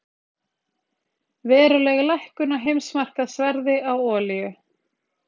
Veruleg lækkun á heimsmarkaðsverði á olíu